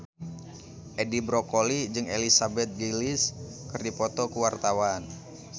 Edi Brokoli jeung Elizabeth Gillies keur dipoto ku wartawan